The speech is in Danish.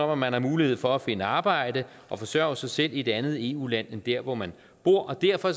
om at man har mulighed for at finde arbejde og forsørge sig selv i et andet eu land end der hvor man bor derfor